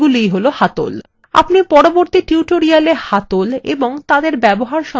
আপনি পরবর্তী tutorialsএ হাতল এবং তাদের ব্যবহার সম্পর্কে আরো জানতে পারবেন